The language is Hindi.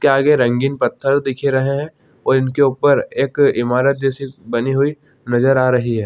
के आगे रंगीन पत्थर दिख रहै है और इनके उपर एक ईमारत जैसी बनी हुई नज़र आ रही है।